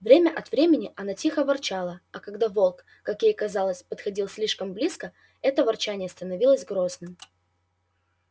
время от времени она тихо ворчала а когда волк как ей казалось подходил слишком близко это ворчание становилось грозным